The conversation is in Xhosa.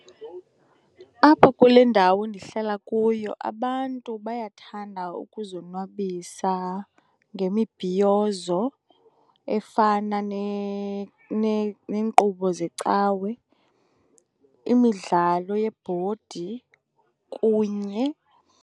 Apha kule ndawo ndihlala kuyo abantu bayathanda ukuzonwabisa ngemibhiyizo efana neenkqubo zecawe, imidlalo yebhodi kunye.